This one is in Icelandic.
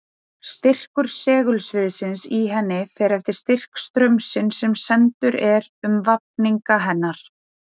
Styrkur segulsviðsins í henni fer eftir styrk straumsins sem sendur er um vafninga hennar.